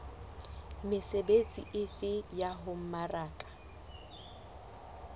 mesebetsi efe ya ho mmaraka